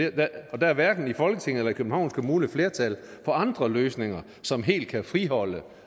og der er hverken i folketinget eller københavns kommune flertal for andre løsninger som helt kan friholde